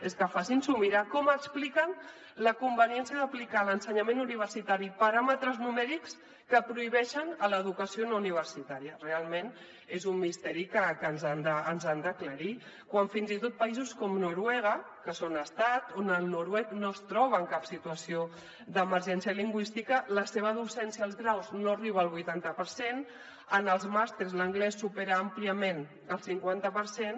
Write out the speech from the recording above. és que facin s’ho mirar com expliquen la conveniència d’aplicar a l’ensenyament universitari paràmetres numèrics que prohibeixen a l’educació no universitària realment és un misteri que ens han d’aclarir quan fins i tot països com noruega que són estat on el noruec no es troba en cap situació d’emergència lingüística la seva docència als graus no arriba al vuitanta per cent en els màsters l’anglès supera àmpliament el cinquanta per cent